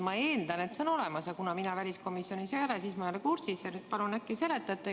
Ma eeldan, et see on olemas, aga kuna mina väliskomisjonis ei ole, siis ma ei ole kursis ja nüüd palun, et äkki seletate.